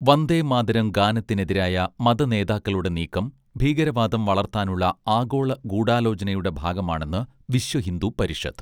വന്ദേമാതരം ഗാനത്തിനെതിരായ മതനേതാക്കളുടെ നീക്കം ഭീകരവാദം വളർത്താനുള്ള ആഗോള ഗൂഢാലോചനയുടെ ഭാഗമാണെന്ന് വിശ്വഹിന്ദു പരിഷത്ത്